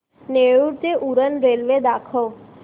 नेरूळ ते उरण रेल्वे दाखव